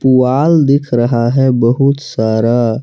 पुआल दिख रहा है बहुत सारा।